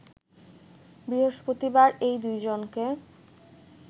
বৃহস্পতিবার এই দুইজনকে